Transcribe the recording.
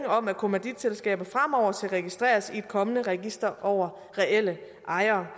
om at kommanditselskaber fremover skal registreres i et kommende register over reelle ejere